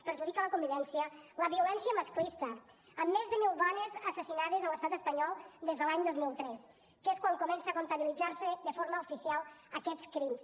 perjudica la convivència la violència masclista amb més de mil dones assassinades a l’estat espanyol des de l’any dos mil tres que és quan comença a comptabilitzar se de forma oficial aquests crims